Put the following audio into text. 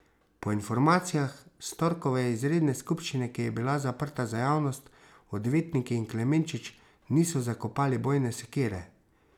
Po informacijah s torkove izredne skupščine, ki je bila zaprta za javnost, odvetniki in Klemenčič niso zakopali bojne sekire.